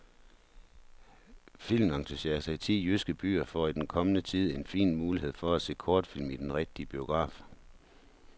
Filmentusiaster i ti jyske byer får i den kommende tid en fin mulighed for at se kortfilm i den rigtige biograf.